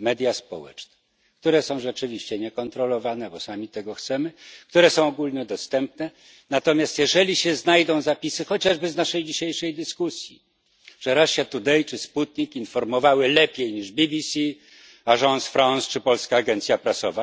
media społeczne, które są rzeczywiście niekontrolowane, bo sami tego chcemy, które są ogólnodostępne, natomiast jeżeli się znajdą zapisy, chociażby z naszej dzisiejszej dyskusji, że Russia Today czy Sputnik informowały lepiej niż BBC, Agence France czy Polska Agencja Prasowa,